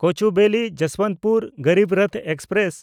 Kochuveli Jasbantpur Garib Rath express